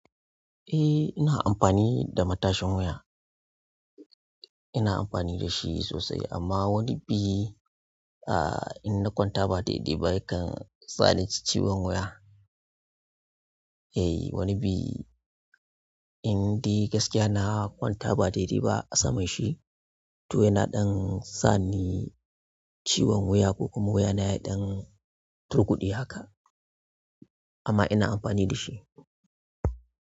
Eh ina amfani da matashin wuya. Ina amfani da shi sosai amma wani bi ah in na kwanta ba daidai ba yakan sa ni ciwon wuya. Eh wani bi indai gaskiya na kwanta ba daidai ba a samanshi to yana ɗan sa ni ciwon wuya ko kuma wuya na ya ɗan turkuɗai haka. Amma ina amfani da shi.